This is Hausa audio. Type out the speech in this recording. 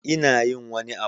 Ina yin wani abu